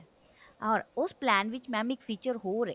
ah ਉਸ plan ਵਿੱਚ madam ਇੱਕ feature ਹੋਰ ਹੈ